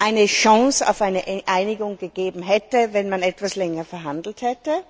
eine Chance für eine Einigung bestanden hätte, wenn man etwas länger verhandelt hätte.